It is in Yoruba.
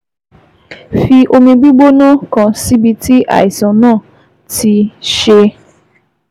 Fi omi gbígbóná kan síbi tí àìsàn náà ti ti ṣe é